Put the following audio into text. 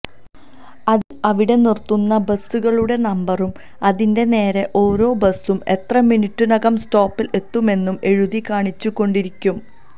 അതിൽ അവിടെ നിറുത്തുന്ന ബസ്സുകളുടെ നമ്പരും അതിന്റെ നേരെ ഓരോ ബസ്സും എത്ര മനിട്ടിനകം സ്റ്റോപ്പിൽ എത്തുമെന്നും എഴുതി കാണിച്ചുകൊണ്ടിരിക്കും